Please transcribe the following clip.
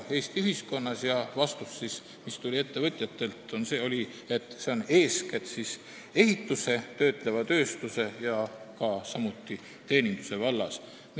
Ettevõtjate vastus oli see, et eeskätt ehituse, töötleva tööstuse ja samuti teeninduse vallas.